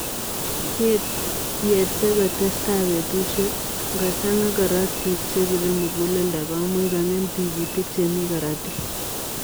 Yetee kotesetai petusiek ,ngochangaa korotik chepiree muguleldo komuuch kongem tigitik chemii korotik.